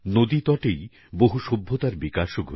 নদীতটেই অনেক সভ্যতার বিকাশ হয়েছে